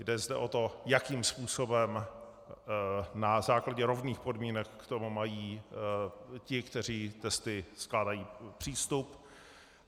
Jde zde o to, jakým způsobem na základě rovných podmínek k tomu mají ti, kteří testy skládají, přístup.